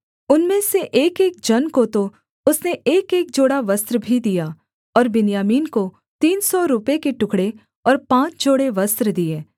उनमें से एकएक जन को तो उसने एकएक जोड़ा वस्त्र भी दिया और बिन्यामीन को तीन सौ रूपे के टुकड़े और पाँच जोड़े वस्त्र दिए